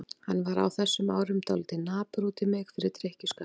Hann var á þessum árum dálítið napur út í mig fyrir drykkjuskapinn.